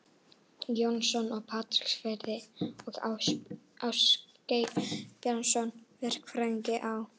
Jóhannesson á Patreksfirði og Ásgeir Bjarnason, verkfræðing á